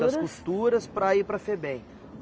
Das costuras para ir para a Febem.